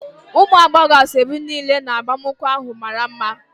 Ụmụ agbọghọ asaobi niile na agbamakwụkwọ ahụ mara mma.